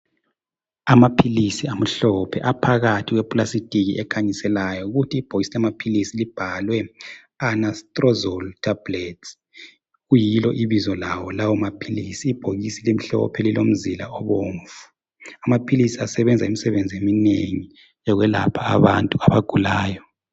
Amaphilisi amhlophe aphakathi kwepulastiki ekhanyiselayo kuthi ibhokisi libhalwe Anastrozole tablets kuyilo ibizo lawo lamaphilisi. Ibhokisi limhlophe lilomzila obomvu. Amaphilisi asebenza imisebenzi eminengi yokwelapha abantu abagulayo